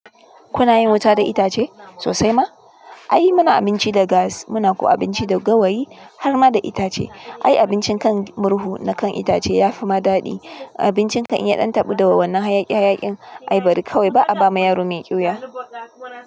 Kuna yin wuta da itace sosai ma? Ai muna abinci da gas, muna kuwa abinci da gawayi har ma da itace. Ai abincin kan murhu na kan itace ya fi ma daɗi. Abincin kan iya ɗan taɓu da wannan hayaƙi hayaƙin. Ai bari kawai ba a ba ma yaro mai ƙyuya.